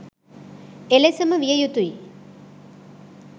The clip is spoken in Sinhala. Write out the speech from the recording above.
එලෙසම විය යුතුයි.